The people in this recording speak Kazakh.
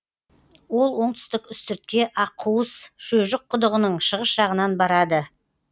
ол оңтүстік үстіртке аққуыс шөжік құдығының шығыс жағынан барады